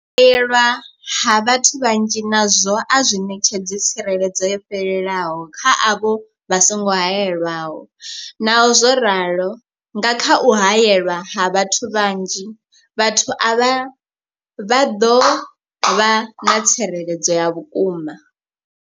U haelwa ha vhathu vhanzhi nazwo a zwi ṋetshedzi tsireledzo yo fhelelaho kha avho vha songo haelwaho, Naho zwo ralo, nga kha u haelwa ha vhathu vhanzhi, vhathu avha vha ḓo vha na tsireledzo ya vhukuma.